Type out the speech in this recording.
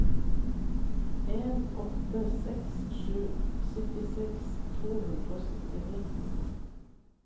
en åtte seks sju syttiseks to hundre og syttini